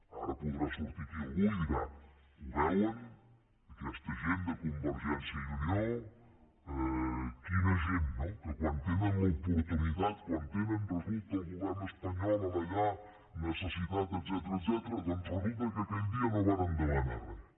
ara podrà sortir aquí algú i dirà ho veuen aquesta gent de convergència i unió quina gent no que quan tenen l’oportunitat quan tenen resulta el govern espanyol allà necessitat etcètera resulta que aquell dia no varen demanar res